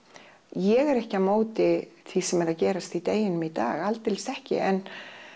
ég er ekki á móti því sem er að gerast í deginum í dag aldeilis ekki en